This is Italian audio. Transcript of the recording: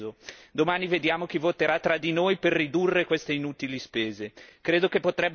Credo che potrebbe essere un piccolo segnale, ma che i cittadini europei apprezzerebbero sicuramente.